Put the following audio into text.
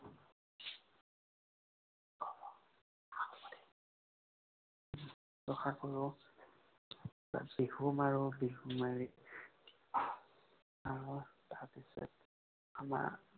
শুশ্ৰূষা কৰোঁ। তাৰপিছত বিহু মাৰো। বিহু মাৰি আঁহো। তাৰপিছত আমাৰ